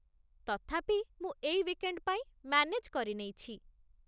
ତଥାପି, ମୁଁ ଏଇ ୱିକେଣ୍ଡ୍ ପାଇଁ ମ୍ୟାନେଜ୍ କରିନେଇଛି ।